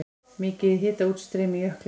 Mikið hitaútstreymi í jöklinum